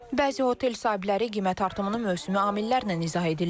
Bəzi otel sahibləri qiymət artımını mövsümi amillərlə izah edirlər.